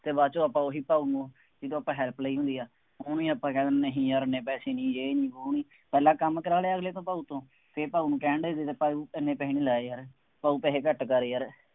ਅਤੇ ਬਾਅਦ ਚ ਆਪਾਂ ਉਹੀ ਭਾਊ ਨੂੰ ਜਿਹਦੇ ਤੋਂ ਆਪਾਂ help ਲਈ ਹੁੰਦੀ ਹੈ ਉਹਨੂੰ ਹੀ ਆਪਾਂ ਕਹਿ ਦਿੰਦੇ ਹਾਂ ਨਹੀਂ ਯਾਰ ਐਨੇ ਪੈਸੇ ਨਹੀਂ, ਯੇਹ ਨਹੀਂ, ਵੋਹ ਨਹੀਂ, ਪਹਿਲਾ ਕੰਮ ਕਰਾ ਲਿਆ ਅਗਲੇ ਤੋਂ ਭਾਊ ਤੋਂ, ਫੇਰ ਭਾਊ ਨੂੰ ਕਹਿਣ ਡੇ ਜਿਦਾਂ ਭਾਊ ਐਨੇ ਪੈਸੇ ਨਹੀਂ ਲਾਏ ਯਾਰ, ਭਾਊ ਪੈਸੇ ਘੱਟ ਕਰ ਯਾਰ,